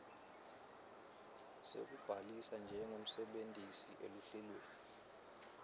sekubhalisa njengemsebentisi eluhlelweni